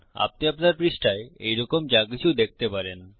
আপনি আপনার পৃষ্ঠায় এইরকম যাকিছু দেখতে পারেন